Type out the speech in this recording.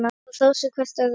Og hrósa hvert öðru.